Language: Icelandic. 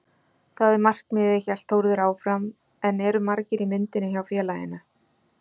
Það er markmiðið, hélt Þórður áfram en eru margir í myndinni hjá félaginu?